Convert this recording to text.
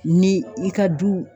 Ni i ka du